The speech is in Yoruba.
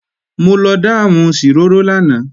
Mo lọ dáàmù ṣìrórò lánàá